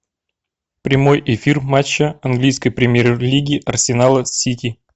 прямой эфир матча английской премьер лиги арсенала с сити